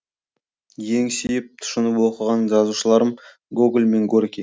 ең сүйіп тұшынып оқыған жазушыларым гоголь мен горький